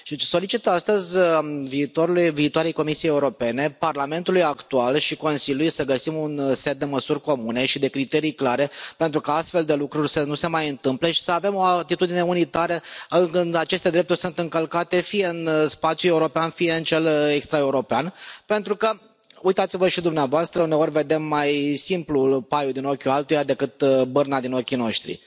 Solicit astăzi viitoarei Comisii Europene, Parlamentului actual și Consiliului să găsim un set de măsuri comune și de criterii clare pentru ca astfel de lucruri să nu se mai întâmple și să avem o atitudine unitară când aceste drepturi sunt încălcate, fie în spațiul european, fie în cel extra european, pentru că, uitați vă și dumneavoastră, uneori vedem mai simplu paiul din ochiul altuia decât bârna din ochii noștri.